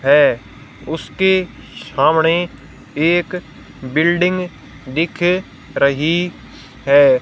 है उसके सामने एक बिल्डिंग दिख रही है।